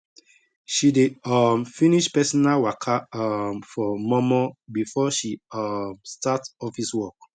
she dey um finish personal waka um for mor mor before she um start office work